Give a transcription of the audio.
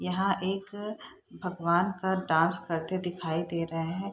यहाँ एक भगवान का डांस करते दिखाई दे रहें हैं।